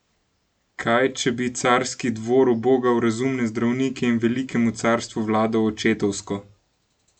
Kaj če bi carski dvor ubogal razumne zdravnike in velikemu carstvu vladal očetovsko?